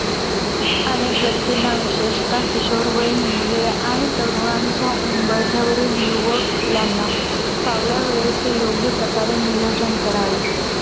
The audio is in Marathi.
अनेक व्यक्तींना विशेषतः किशोरवयीन मुले आणि तरुणांच्या उंबरठ्यावरील युवक यांना फावल्या वेळेचे योग्यप्रकारे नियोजन करावे.